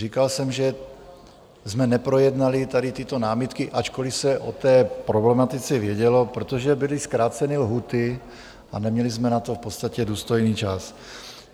Říkal jsem, že jsme neprojednali tady tyto námitky, ačkoli se o té problematice vědělo, protože byly zkráceny lhůty a neměli jsme na to v podstatě důstojný čas.